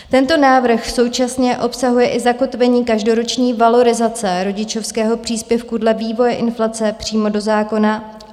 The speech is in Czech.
Tento návrh současně obsahuje i zakotvení každoroční valorizace rodičovského příspěvku dle vývoje inflace přímo do zákona.